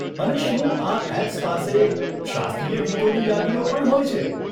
અને શું આ એપ્સ પાસે શાસ્ત્રીય ગીતોની યાદીઓ પણ હોય છે?